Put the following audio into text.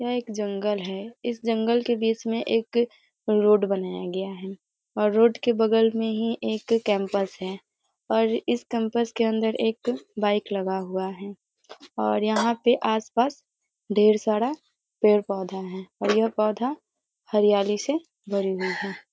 यह एक जंगल है इस जंगल के बीच में एक रोड बनाया गया है और रोड के बगल में ही एक कैंपस है और इस कैंपस के अंदर एक बाइक लगा हुआ है और यहाँ पे आस-पास ढेर सारा पेड़-पौधा है और यह पौधा हरयाली से भरी हुई है ।